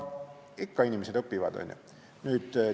Ikka inimesed õpivad, on ju?